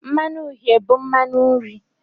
Mmanu uhie bụ mmanụ nri.